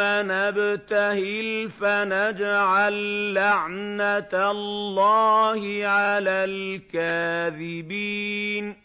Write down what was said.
نَبْتَهِلْ فَنَجْعَل لَّعْنَتَ اللَّهِ عَلَى الْكَاذِبِينَ